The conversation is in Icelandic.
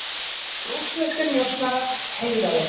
Rússneskir njósnarar heiðraðir